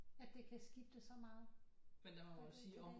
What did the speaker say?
At det kan skifte så meget fra dag til dag